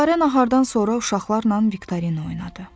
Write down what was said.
Gülarə nahardan sonra uşaqlarla Viktoria oynadı.